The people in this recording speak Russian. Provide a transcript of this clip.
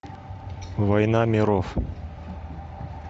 война миров